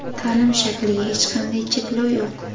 Ta’lim shakliga hech qanday cheklov yo‘q.